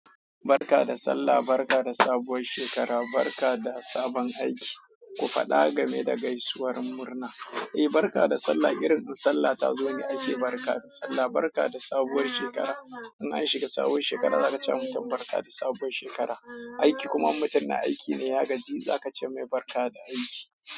Barka da Sallah, barka da sabuwar shekara, barka da sabon aiki. Ku faɗa game da gaisuwar murna. Eh, barka da Sallah. Irin in Sallah ta zo ne aiki, barka da Sallah, barka da sabuwar shekara. In an shiga sabuwar shekara za ka ce wa mutum barka da sabuwar shekara. Aiki kuma mutum na aiki ne, ya gaji, za ka ce mai barka da aiki.